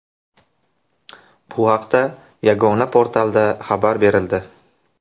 Bu haqda yagona portalda xabar berildi .